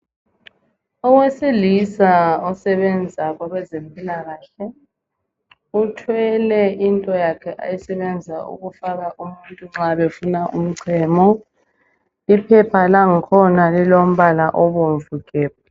Owesilisa osebenza kwabezempilakahle uthwele into yakhe ayisebenza ukufaka umuntu nxa befuna umchemo iphepha lankhona lilombala obomvu gebhu.